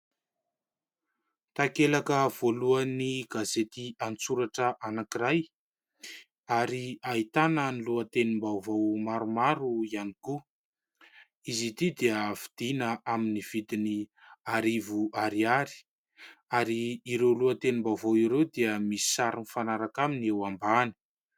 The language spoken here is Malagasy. Takelaka voalohan'ny gazety an-tsoratra anankiray, ary ahitana ny lohatenim-baovao maromaro ihany koa. Izy ity dia vidiana amin'ny vidiny arivo ariary. Ary ireo lohatenim-baovao ireo dia misy sary mifanaraka aminy eo ambany.